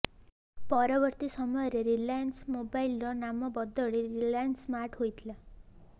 ପରବର୍ତ୍ତୀ ସମୟରେ ରିଲାଏନ୍ସ ମୋବାଇଲର ନାମ ବଦଳି ରିଲାଏନ୍ସ ସ୍ମାର୍ଟ ହୋଇଥିଲା